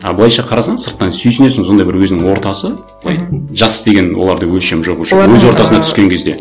а былайша қарасаң сыртынан сүйсінесің сондай бір өзінің ортасы былай жас деген оларда өлшем жоқ уже өз ортасына түскен кезде